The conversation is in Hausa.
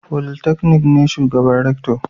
Polytechnic ne shugaban Rector